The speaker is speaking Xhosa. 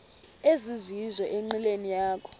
ezizizo enqileni yakho